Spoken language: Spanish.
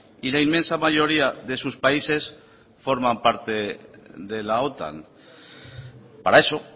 y la inmensa mayoría de sus países forman parte de la otan para eso